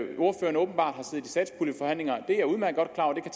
satspuljeforhandlinger og